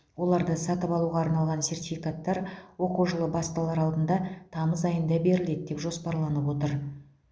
оларды сатып алуға арналған сертификаттар оқу жылы басталар алдында тамыз айында беріледі деп жоспарланып отыр